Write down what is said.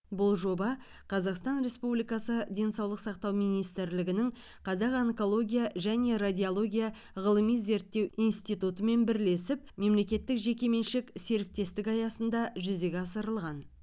бұл жоба қазақстан республикасы денсаулық сақтау министрлігінің қазақ онкология және радиология ғылыми зерттеу институтымен бірлесіп мемлекеттік жеке меншік серіктестік аясында жүзеге асырылған